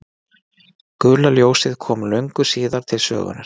Gula ljósið kom löngu síðar til sögunnar.